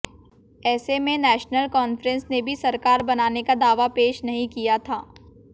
ऐसे में National Conference ने भी सरकार बनाने का दावा पेश नहीं किया था